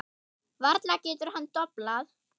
Varla getur hann doblað.